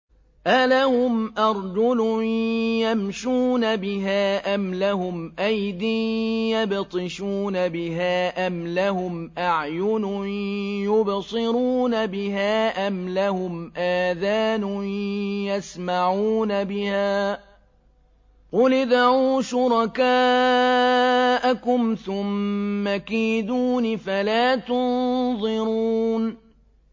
أَلَهُمْ أَرْجُلٌ يَمْشُونَ بِهَا ۖ أَمْ لَهُمْ أَيْدٍ يَبْطِشُونَ بِهَا ۖ أَمْ لَهُمْ أَعْيُنٌ يُبْصِرُونَ بِهَا ۖ أَمْ لَهُمْ آذَانٌ يَسْمَعُونَ بِهَا ۗ قُلِ ادْعُوا شُرَكَاءَكُمْ ثُمَّ كِيدُونِ فَلَا تُنظِرُونِ